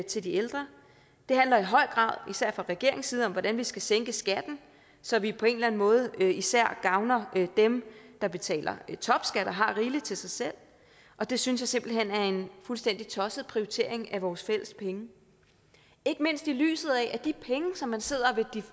til de ældre den handler i høj grad især fra regeringens side om hvordan vi skal sænke skatten så vi på en eller anden måde især gavner dem der betaler topskat og har rigeligt til sig selv og det synes jeg simpelt hen er en fuldstændig tosset prioritering af vores fælles penge ikke mindst set i lyset af at de penge som man sidder